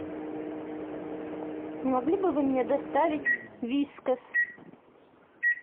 не могли бы вы мне доставить вискас